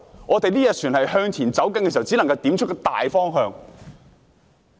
我們這條船向前行駛時，只能點出大方向。